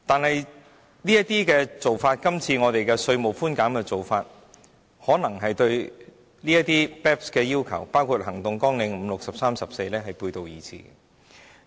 然而，今次稅務寬減的做法可能對 BEPS 的要求，包括第5項、第6項、第13項及第14項行動計劃背道而馳。